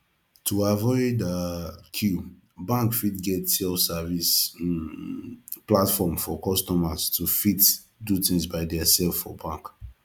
to avoid um queue bank fit get self service um platform for customer to fit do thing by theirself for bank